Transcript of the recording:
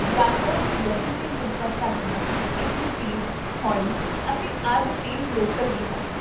ਯਾਤਰਾ ਦੀ ਗਤੀ 'ਤੇ ਨਿਰਭਰ ਕਰਦੀਆਂ, ਇੱਥੇ ਤੇਜ਼, ਹੌਲੀ ਅਤੇ ਅਰਧ ਤੇਜ਼ ਲੋਕਲ ਵੀ ਹਨ